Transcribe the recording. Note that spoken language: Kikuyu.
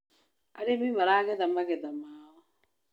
Arĩmi maragetha magetha mao